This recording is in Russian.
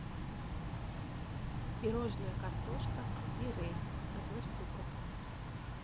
пирожное картошка мирель одна штука